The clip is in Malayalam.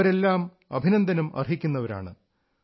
ഇവരെല്ലാം അഭിനന്ദനം അർഹിക്കുന്നവരാണ്